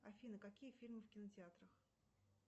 афина какие фильмы в кинотеатрах